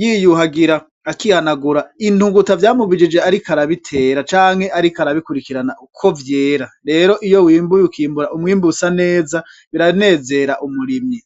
yiyuhagira, akiganagura intuguta vyamubijije ariko arabitera ,canke ariko arabikurikirana ko vyera, rero iyo wimbuye ukibura umwimbu usa neza biranzera umurimyi .